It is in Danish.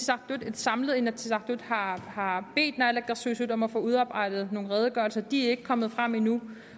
samlet inatsisartut har har bedt naalakkersuisut om at få udarbejdet nogle redegørelser de er ikke kommet frem endnu